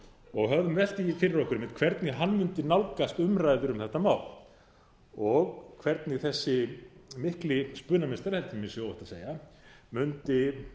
og höfum velt því fyrir okkur einmitt hvernig hann mundi nálgast umræður um þetta mál og hvernig þessi mikli spunameistari held ég að mér sé óhætt að segja mundi